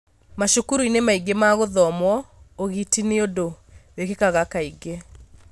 macukuru-inĩ maingĩ ma gũkomwo ũgiti nĩ ũndũ wĩkĩkaga kaingĩ.